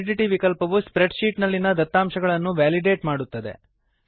validity ವಿಕಲ್ಪವು spreadsheet ನಲ್ಲಿನ ದತ್ತಾಂಶಗಳನ್ನು ವೇಲಿಡೇಟ್ ಮಾಡುತ್ತದೆ